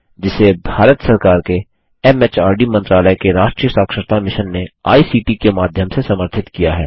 जिसे भारत सरकार के एमएचआरडी मंत्रालय के राष्ट्रीय साक्षरता मिशन ने आई सीटी के माध्यम से समर्थित किया है